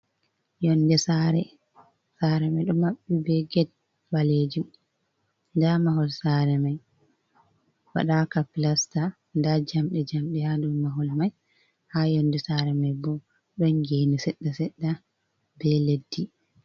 Yonɗe sare. Sare mai ɗo maɓɓi ɓe get ɓalejum. Nɗa mahol sare mai waɗaka pilasta. Nɗa jamɗe jamɗe ha ɗow mahol mai, ha yonɗe sare mai ɓo, ɗon geni seɗɗa seɗɗa ɓe leɗɗi.